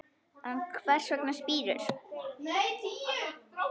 En hvers vegna spírur?